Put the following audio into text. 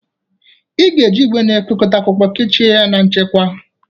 Ị ga-eji igwe na-ekekọta akwụkwọ kechie ya na nchekwa.